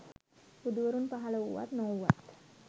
බුදුවරුන් පහළ වූවත් නොවූවත්